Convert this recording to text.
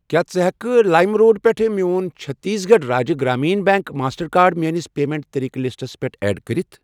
کیٛاہ ژٕ ہٮ۪کہِ لایِم روڈ پٮ۪ٹھ میون Chhattisgarh Rajya Gramin bank master card میٲنِس پیمنٹ طٔریٖقہٕ لِسٹَس پٮ۪ٹھ ایڈ کٔرِتھ؟